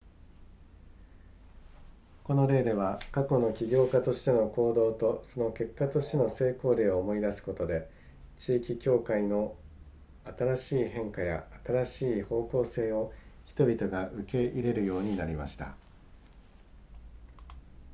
この例では過去の起業家としての行動とその結果としての成功例を思い出すことで地域教会の新しい変化や新しい方向性を人々が受け入れるようになりました